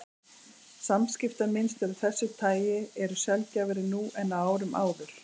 Samskiptamynstur af þessu tagi eru sjaldgæfari nú en á árum áður.